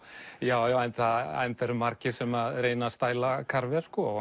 já enda enda eru margir sem reyna að stæla